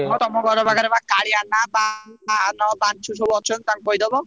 ତମ ଘର ପାଖରେ ପା କାଳିଆନା, ବାହାନ, ବାଛୁ ସବୁ ଅଛନ୍ତି ତାଙ୍କୁ କହିଦବ।